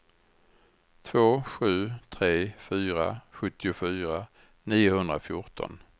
två sju tre fyra sjuttiofyra niohundrafjorton